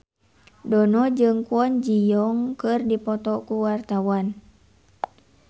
Dono jeung Kwon Ji Yong keur dipoto ku wartawan